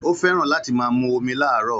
Ó fẹ́ràn láti máa mu omi láàárọ̀